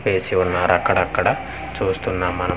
ఏసి ఉన్నారు అక్కడక్కడ చూస్తున్నాం మనం.